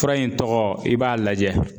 Fura in tɔgɔ i b'a lajɛ